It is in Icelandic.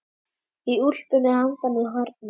Í úlpunni handan við hornið.